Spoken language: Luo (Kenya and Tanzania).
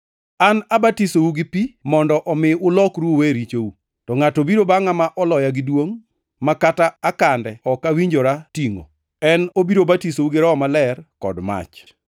“An abatisou gi pi mondo omi ulokru uwe richou. To ngʼato biro bangʼa ma oloya gi duongʼ, ma kata akande ok awinjora tingʼo. En obiro batisou gi Roho Maler kod mach.